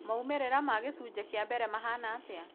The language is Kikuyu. Maumĩrĩra ma gĩcunjĩ kia mbere mahana atĩa?